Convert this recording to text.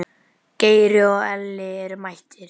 Geiri og Elli eru mættir.